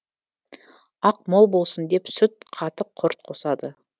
ақ мол болсын деп сүт қатық құрт қосады